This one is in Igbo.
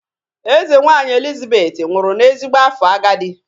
Eze nwaanyị Elizabeth nwụrụ n'ezigbo afọ agadi.